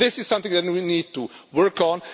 This is something that we need to work on.